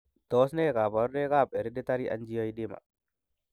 Tos nee koborunoikab Hereditary angioedema?